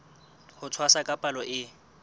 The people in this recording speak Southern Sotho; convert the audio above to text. ho tshwasa ka palo e